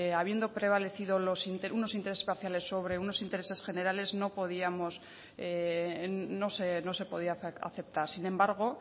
habiendo prevalecido unos intereses parciales sobre unos intereses generales no se podía aceptar sin embargo